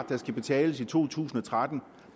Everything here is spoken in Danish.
der skal betales i to tusind og tretten